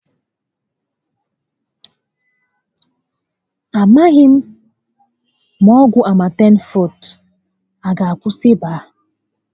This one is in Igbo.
A maghị m ma ọgwụ Amatem Fọọte a aga akwụsị ịba a